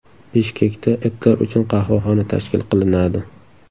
Bishkekda itlar uchun qahvaxona tashkil qilinadi.